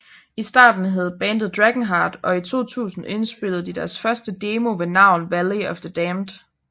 I starten hed bandet DragonHeart og i 2000 indspillede de deres første demo ved navn Valley Of The Damned